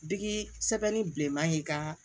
Digi sɛbɛnni bilenman in ka